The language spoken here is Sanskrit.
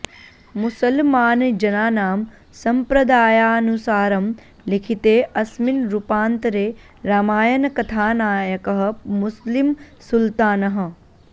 मुसल्मानजनानां सम्प्रदायानुसारं लिखिते अस्मिन रुपान्तरे रामायणकथानायकः मुस्लिं सुल्तानः